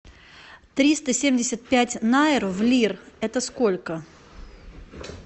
триста семьдесят пять найр в лир это сколько